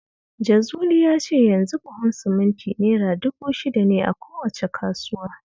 Jazuli ya ce yanzu buhun siminti Naira dubu shida ne a kowace kasuwa